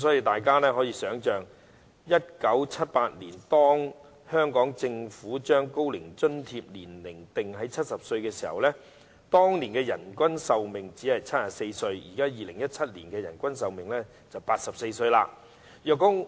大家可以想象 ，1978 年當香港政府將高齡津貼的年齡定在70歲或以上時，當年的人均壽命約為74歲 ；2017 年的人均壽命則約為84歲。